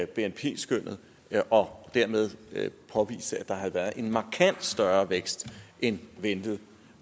bnp skønnet og dermed påviste at der havde været en markant større vækst end ventet og